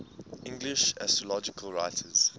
english astrological writers